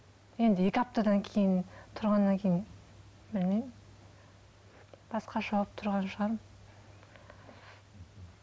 енді екі аптадан кейін тұрғаннан кейін білмеймін басқаша болып тұрған шығармын